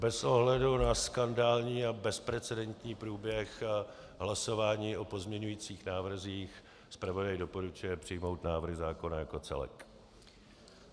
Bez ohledu na skandální a bezprecedentní průběh hlasování o pozměňujících návrzích zpravodaj doporučuje přijmout návrh zákona jako celek.